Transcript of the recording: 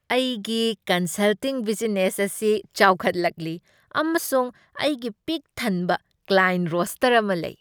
ꯑꯩꯒꯤ consulting business ꯑꯁꯤ ꯆꯥꯎꯈꯠꯂꯛꯂꯤ, ꯑꯃꯁꯨꯡ ꯑꯩꯒꯤ ꯄꯤꯛ ꯊꯟꯕ ꯀ꯭ꯂꯥꯏꯌꯦꯟꯠ ꯔꯣꯁꯇꯔ ꯑꯃ ꯂꯩ꯫